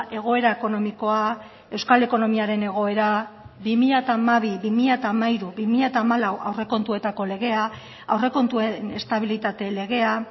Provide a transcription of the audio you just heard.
egoera ekonomikoa euskal ekonomiaren egoera bi mila hamabi bi mila hamairu bi mila hamalau aurrekontuetako legea aurrekontuen estabilitate legea